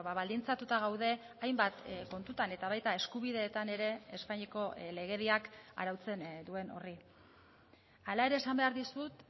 baldintzatuta gaude hainbat kontutan eta baita eskubideetan ere espainiako legediak arautzen duen horri hala ere esan behar dizut